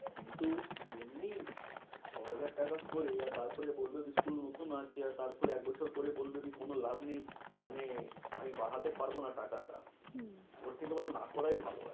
কিন্তু এমনি ছ হাজার টাকা করে আর তারপরে বলবে কি school নতুন আছে। আর তারপরে এক বছর পরে বলবে কি কোনো লাভ নেই। মানে আমি বাড়াতে পারবে না টাকাটা। হম ওর থেকে ভালো না করে ভালো।